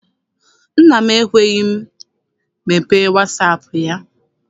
Nna m anaghị ekwe m mepee wasaapụ ya.